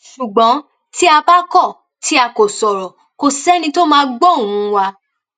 ṣùgbọn tí a bá kọ tí a kò sọrọ kò sẹni tó máa gbọ ohùn wa